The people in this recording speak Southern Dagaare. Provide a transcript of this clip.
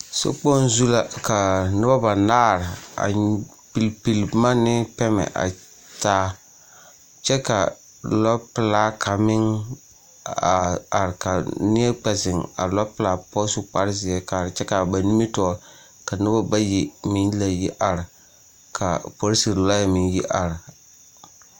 Sokpoŋ zu la ka noba banaare a pilli pilli boma ne pɛmɛ a taa kyɛ ka lɔpelaa kaŋ meŋ a are ka neɛ kpɛ zeŋ a lɔpelaa poɔ su kparezeɛ kaara kyɛ ka ba nimitɔɔre ka noba bayi meŋ la yi are ka polisere lɔɛ meŋ yi are .